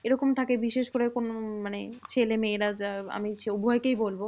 এরকম থাকে বিশেষ করে কোনো মানে ছেলেমেয়েরা যা আমি উভয়কেই বলবো।